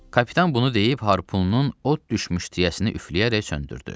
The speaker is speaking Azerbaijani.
Kapitan bunu deyib harpununun od düşmüş tiyəsini üfləyərək söndürdü.